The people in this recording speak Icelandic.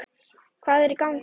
Hvað er í gangi!